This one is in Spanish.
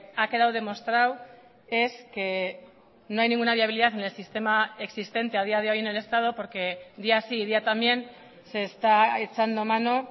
ha quedado demostrado es que no hay ninguna viabilidad en el sistema existente a día de hoy en el estado porque día sí y día también se está echando mano